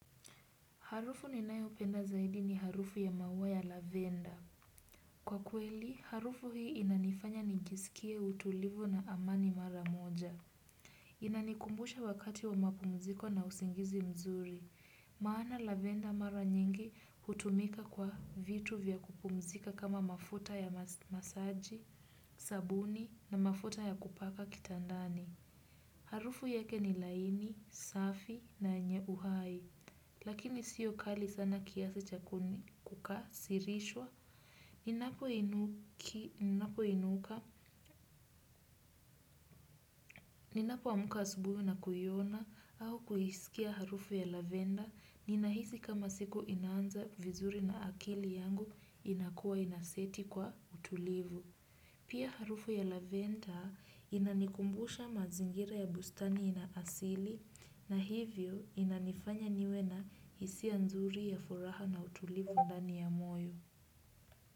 Harufu ninayeupenda zaidi ni harufu ya maua ya lavenda. Kwa kweli, harufu hii inanifanya nijiskie utulivu na amani mara moja. Inanikumbusha wakati wa mapumziko na usingizi mzuri. Maana Lavenda mara nyingi, hutumika kwa vitu vya kupumzika kama mafuta ya masaji, sabuni na mafuta ya kupaka kitandani. Harufu yake ni laini, safi na yenye uhai. Lakini sio kali sana kiasi cha kuni, kukasirishwa. Ninapo inuka, ninapo amka asubuhi na kuiona au kuisikia harufu ya Lavenda, ninahisi kama siku inaanza vizuri na akili yangu inakuwa inaseti kwa utulivu. Pia harufu ya Lavenda inanikumbusha mazingira ya bustani inaasili na hivyo inanifanya niwe na hisia nzuri ya furaha na utulivu ndani ya moyo.